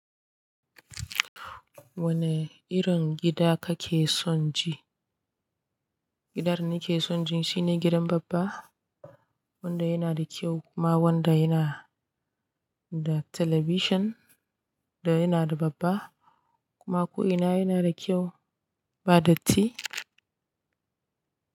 Wane irin gida kake son ji? Gidan nake son ji shine gidan babba, wanda yana da kyau kuma wanda yana da talabishin da yana da babba kuma ko ina yana da kyau ba datti.